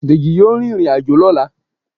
Deji yọọ rín irín-ajo lọla.